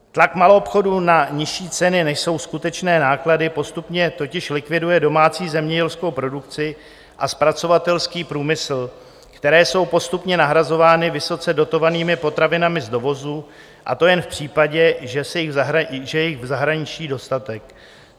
Tlak maloobchodu na nižší ceny, než jsou skutečné náklady, postupně totiž likviduje domácí zemědělskou produkci a zpracovatelský průmysl, které jsou postupně nahrazovány vysoce dotovanými potravinami z dovozu, a to jen v případě, že je jich v zahraničí dostatek.